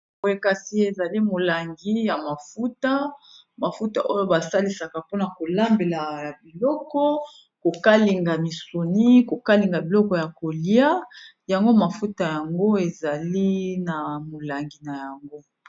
Boye Kasi ézali mulangi ya mafuta mafuta Oyo balisaka poña kokalinga ba misuni ba mbisi nababiloko